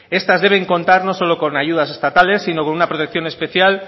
estas deben contar no solo con ayudas estatales sino con una protección especial